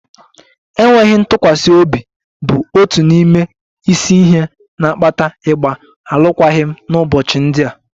Enweghị ntụkwasị obi bụ otu n'ime isi ihe na-akpata ịgba alụkwaghịm n'ụbọchị ndị a